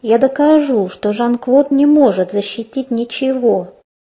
я докажу что жан клод не может защитить ничего